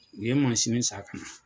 U ye mansini san ka na.